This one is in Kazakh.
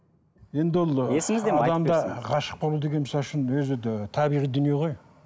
енді ол адамда ғашық болу деген мысалы үшін өзі де табиғи дүние ғой